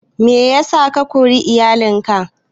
Meyasa ka kori iyalin ka?